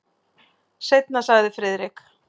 Seinna sagði Friðrik.